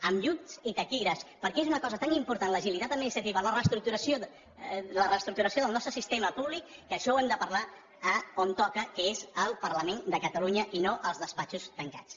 amb llums i taquígrafs perquè és una cosa tan important l’agilitat administrativa la reestructuració del nostre sistema públic que això ho hem de parlar on toca que és al parlament de catalunya i no als despatxos tancats